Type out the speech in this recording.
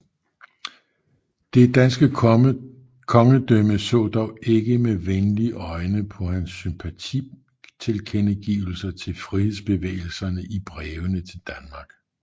Det danske kongedømme så dog ikke med venlige øjne på hans sympatitilkendegivelser til frihedsbevægelserne i brevene til Danmark